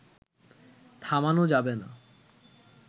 থামানো যাবে না